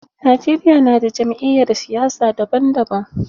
Najeriya na da jam'iyyar siyasa daban daban.